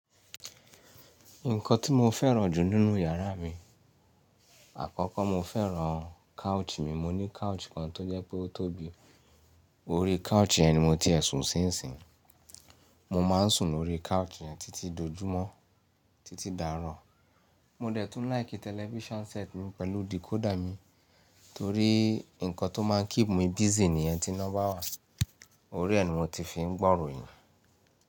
Nǹkan tí mo fẹ́ràn jù nínú yàrá mi, àkọ́kọ́ mo fẹ́ràn couch mi. Mo ní couch kan tó jẹ́ pé ó tóbi. Orí couch yẹn ni mo ti ẹ sun ṣínṣín. Mo máa ń sùn lórí couch yẹn títí dojúmọ́, títí darọ̀. Mo dẹ̀ tún like television set mi pẹ̀lú decoder mi torí ǹkan tó máa ń keep mi busy nìyẹn ti ina bawa. Orí ẹ ni mo ti fi ń gbọ́ ìròyìn.